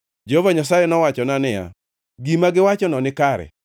Jehova Nyasaye nowachona niya, “Gima giwachono nikare.”